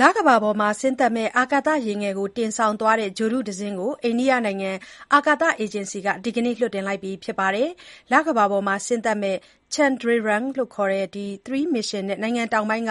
လကမ္ဘာပေါ်ဆင်းသက်မယ့် အာကာသယာဉ်ငယ်ကို တင်ဆောင်သွားတဲ့ ဂြိုလ်တုတစင်းကို အိန္ဒိယနိုင်ငံအာကာသအေဂျင်စီက ဒီနေ့လွှတ်တင်လိုက်ပါတယ်။ လကမ္ဘာပေါ်ဆင်းသက်မယ့် Chandrayaan-3 မစ်ရှင်နဲ့ နိုင်ငံတောင်ပိုင်း